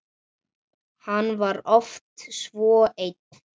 Hann var oft svo einn.